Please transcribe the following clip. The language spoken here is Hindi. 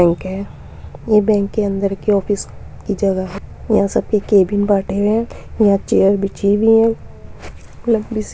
बैंक है। ये बैंक के अंदर के ऑफिस की जगह है। यहाँ सबके कैबिन बांटे है। यहाँ चेयर बिछी है।